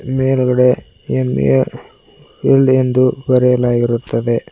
ಮೇಲ್ಗಡೆ M A wheel ಎಂದು ಬರೆಯಲಾಗಿರುತ್ತದೆ.